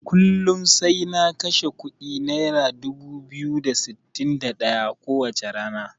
Kullun sai na kashe kuɗi naira dubu biyu da sittin da ɗaya ko wacce rana.